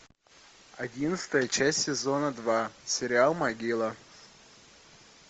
одиннадцатая часть сезона два сериал могила